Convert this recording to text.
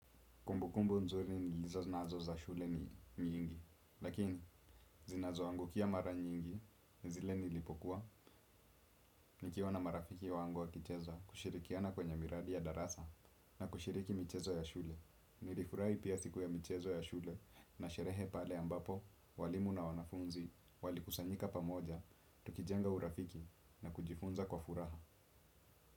Kumbukumbu nzuri ni hizo zinazo za shule ni miingi. Lakini, zinazo angukia mara nyingi ni zile nilipokuwa nikiwa na marafiki wangu wa kichezwa kushirikiana kwenye miradi ya darasa na kushiriki michezo ya shule. Nilifurai pia siku ya michezo ya shule na sherehe pale ambapo, walimu na wanafunzi, walikusanyika pamoja, tukijenga urafiki na kujifunza kwa furaha.